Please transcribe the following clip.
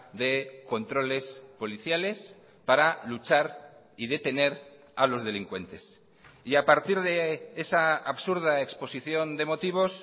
de controles policiales para luchar y detener a los delincuentes y a partir de esa absurda exposición de motivos